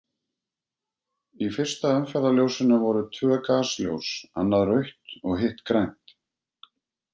Í fyrsta umferðarljósinu voru tvö gasljós, annað rautt og hitt grænt.